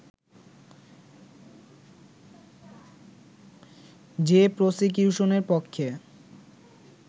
যে প্রসিকিউশনের পক্ষে